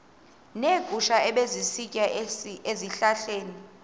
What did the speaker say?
neegusha ebezisitya ezihlahleni